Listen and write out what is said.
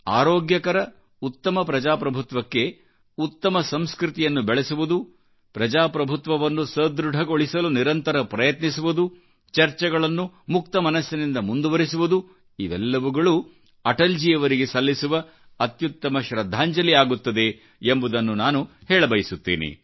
ಆರೋಗ್ಯಕರ ಉತ್ತಮ ಪ್ರಜಾಪ್ರಭುತ್ವಕ್ಕೆ ಉತ್ತಮ ಸಂಸ್ಕೃತಿಯನ್ನು ಬೆಳೆಸುವುದು ಪ್ರಜಾಪ್ರಭುತ್ವವನ್ನು ಸದೃಢಗೊಳಿಸಲುನಿರಂತರ ಪ್ರಯತ್ನಿಸುವುದು ಚರ್ಚೆಗಳನ್ನು ಮುಕ್ತ ಮನಸ್ಸಿನಿಂದ ಮುಂದುವರಿಸುವುದು ಇವೆಲ್ಲವುಗಳುಅಟಲ್ಜಿಯವರಿಗೆ ಸಲ್ಲಿಸುವ ಅತ್ಯುತ್ತಮ ಶೃದ್ಧಾಂಜಲಿಆಗುತ್ತದೆ ಎಂಬುದನ್ನು ನಾನು ಹೇಳಬಯಸುತ್ತೇನೆ